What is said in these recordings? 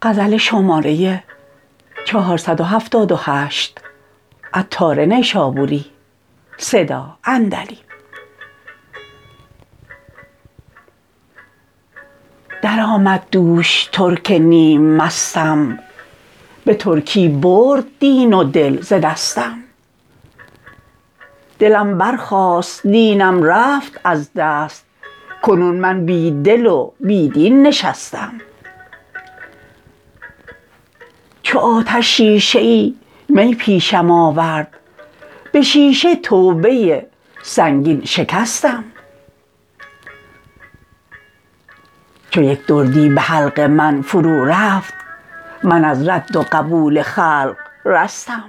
درآمد دوش ترک نیم مستم به ترکی برد دین و دل ز دستم دلم برخاست دینم رفت از دست کنون من بی دل و بی دین نشستم چو آتش شیشه ای می پیشم آورد به شیشه توبه سنگین شکستم چو یک دردی به حلق من فرو رفت من از رد و قبول خلق رستم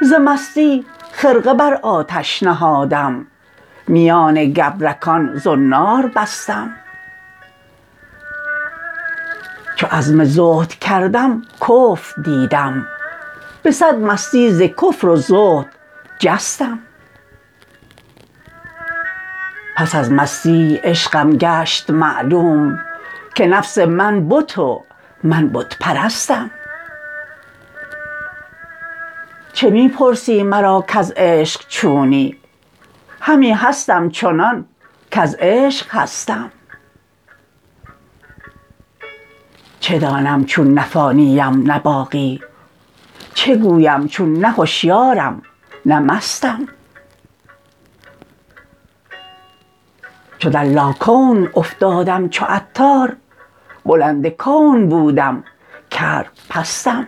ز مستی خرقه بر آتش نهادم میان گبرکان زنار بستم چو عزم زهد کردم کفر دیدم به صد مستی ز کفر و زهد جستم پس از مستی عشقم گشت معلوم که نفس من بت و من بت پرستم چه می پرسی مرا کز عشق چونی همی هستم چنان کز عشق هستم چه دانم چون نه فانی ام نه باقی چه گویم چون نه هشیارم نه مستم چو در لاکون افتادم چو عطار بلند کون بودم کرد پستم